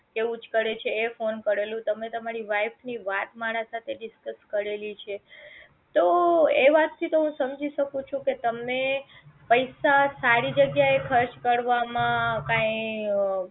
એવું જ કરે છે એ ફોન કરેલું તમે તમારી wife ની વાત મારા સાથે discuss કરેલી છે તો એ વાત થી તો હું સમજી શકું છું કે તમને પૈસા સારી જગ્યા એ ખર્ચ કરવામાં કાંઈ